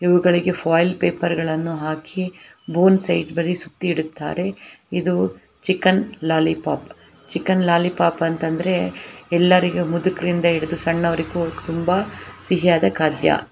ಇವುಗಳಿಗೆ foil paper ಗಳನ್ನು ಹಾಕಿ ಬೋನ್ ಸೈಡ್ ಬರಿ ಸುತ್ತಿಡುತ್ತಾರೆ ಇದು ಚಿಕನ್ ಲಾಲಿಪಾಪ್ ಚಿಕನ್ ಲಾಲಿಪಾಪ್ ಅಂತ ಅಂದ್ರೆ ಎಲ್ಲರಿಗು ಮುದ್ಕರಿಂದ ಹಿಡಿದು ಸಣ್ಣವರಿಗೂ ತುಂಬಾ ಸಿಹಿ ಆದ ಖಾದ್ಯ.